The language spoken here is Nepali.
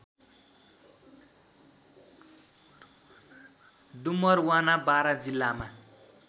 डुमरवाना बारा जिल्लामा